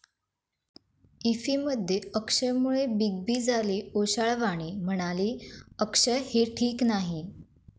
इफ्फीमध्ये अक्षयमुळे Big B झाले ओशाळवाणे, म्हणाले, अक्षय हे ठीक नाही!